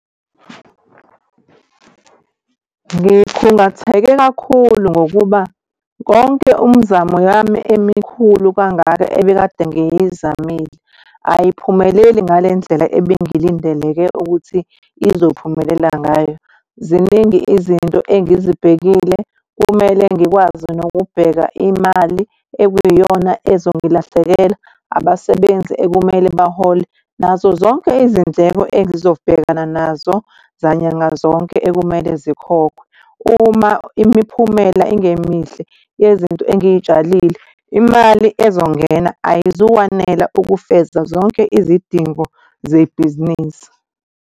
Ngikhungatheke kakhulu ngokuba konke umzamo yami emikhulu kangaka, ebekade ngiyizamile ayiphumeleli ngale ndlela ebengilindeleke ukuthi izophumelela ngayo. Ziningi izinto engizibhekile. Kumele ngikwazi nokubheka imali ekuyiyona ezongilahlekela. Abasebenzi ekumele bahole, nazo zonke izindleko engizobhekana nazo zanyanga zonke ekumele zikhokhwe. Uma imiphumela ingemihle yezinto engiy'tshalile imali ezongena ayizukwanela ukufeza zonke izidingo zebhizinisi.